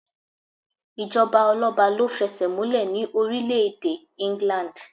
Ìjọba ọlọ́ba ló fẹsẹ̀múlẹ̀ ní orílẹ̀-èdè England.